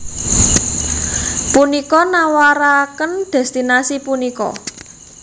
Punika nawaraken destinasi punika